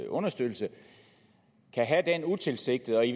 understøttelse kan have den utilsigtede og i